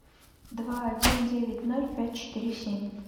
два один девять ноль пять четыре семь